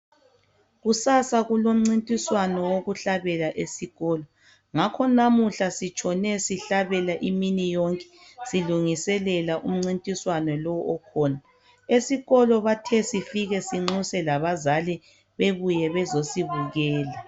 Kusasa kulomcintiswano wokuhlabela esikolo ngakho namuhla sitshone sihlabela imini yonke silungiselela umncintiswano lo okhona esikholo bathe sifike sinxuse labazali bebuye bezosibukela.